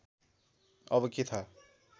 अब के थाहा